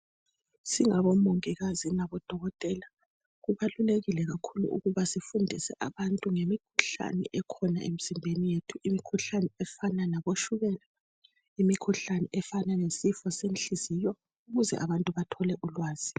Singabomungikazi ngabodokotela, kubalulekile kakhulu ukuba sifundise abantu ngemikhuhlane ekhona imizimbeni yethu. Imikhuhlane efana labotshukela, imkhuhlane lefana lesifo senhliziyo, ukuze abantu bathole ulwazi.